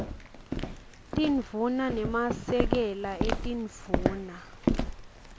tindvuna nemasekela etindvuna